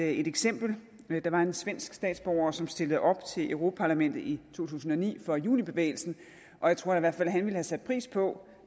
et eksempel der var en svensk statsborger som stillede op til europa parlamentet i to tusind og ni for junibevægelsen og jeg tror i hvert fald at han ville have sat pris på